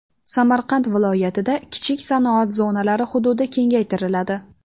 Samarqand viloyatida kichik sanoat zonalari hududi kengaytiriladi.